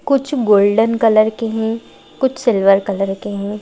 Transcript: कुछ golden colour के हैं कुछ सिल्वर कलर के हैं।